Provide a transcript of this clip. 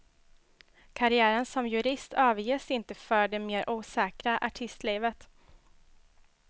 Karriären som jurist överges inte för det mer osäkra artistlivet.